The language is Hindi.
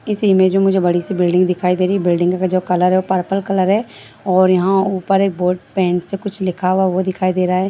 इस इमेज में मुझे बड़ी सी बिल्डिंग दिखाई दे रही है बिल्डिंग का कलर है जो पर्पल कलर है और यहाँ ऊपर बोर्ड पेंट से कुछ लिखा हुआ वो दिखाई दे रही है।